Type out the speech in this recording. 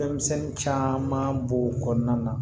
Fɛnmisɛnnin caman b'o kɔnɔna na